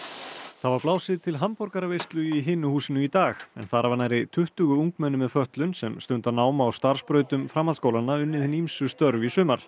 það var blásið til hamborgaraveislu í Hinu húsinu í dag þar hafa nærri tuttugu ungmenni með fötlun sem stunda nám á starfsbrautum framhaldsskólanna unnið hin ýmsu störf í sumar